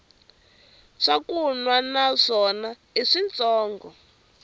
swakunwa na swona i switshongo